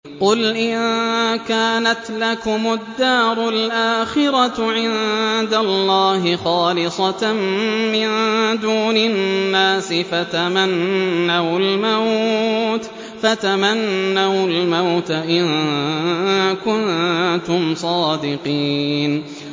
قُلْ إِن كَانَتْ لَكُمُ الدَّارُ الْآخِرَةُ عِندَ اللَّهِ خَالِصَةً مِّن دُونِ النَّاسِ فَتَمَنَّوُا الْمَوْتَ إِن كُنتُمْ صَادِقِينَ